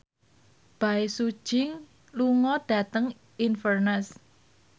Bae Su Ji lunga dhateng Inverness